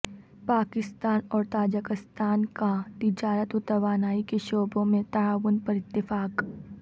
پاکستان اور تاجکستان کا تجارت وتوانائی کے شعبوں میں تعاون پر اتفاق